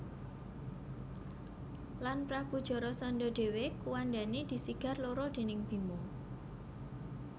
Lan Prabu Jarasandha dhéwé kuwandané disigar loro déning Bima